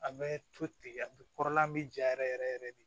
A bɛ to ten a bɛ kɔrɔlan bɛ ja yɛrɛ yɛrɛ de